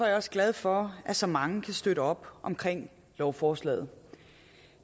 jeg også glad for at så mange kan støtte op omkring lovforslaget